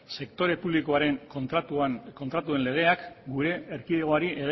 sektore publikoaren kontratuen legeak gure erkidegoari